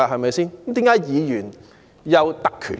為甚麼議員會有特權呢？